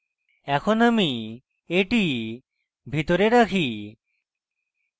এখন আমি এটি ভিতরে রাখি